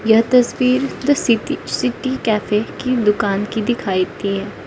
यह तस्वीर the city city cafe की दुकान की दिखाई दी है।